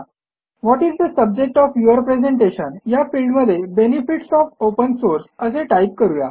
what is the subject of your presentation या फिल्डमध्ये benefits of open source असे type करू या